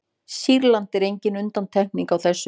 sýrland er engin undantekning á þessu